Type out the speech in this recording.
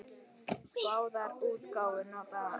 Báðar útgáfur nota sömu kort.